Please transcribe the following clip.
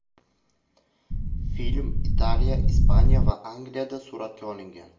Film Italiya, Ispaniya va Angliyada suratga olingan.